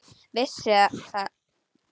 Vissi það þó.